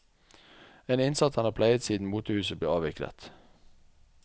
En innsats han har pleiet siden motehuset ble avviklet.